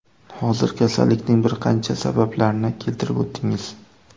Hozir kasallikning bir qancha sabablarni keltirib o‘tdingiz.